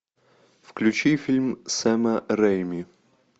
включи фильм сэма рэйми